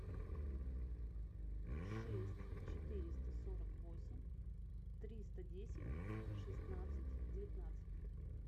шесть четыреста сорок восемь триста десять шестнадцать девятнадцать